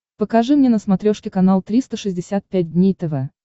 покажи мне на смотрешке канал триста шестьдесят пять дней тв